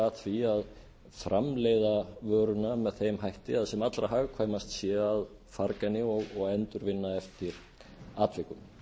að því að framleiða vöruna með þeim hætti að sem allra hagkvæmast sé að farga henni og endurvinna eftir atvikum